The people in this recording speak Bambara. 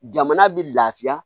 Jamana bɛ lafiya